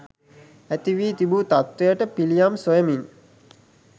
ඇති වී තිබූ තත්ත්වයට පිළියම් සොයමින්